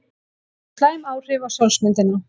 Þetta hefur slæm áhrif á sjálfsmyndina.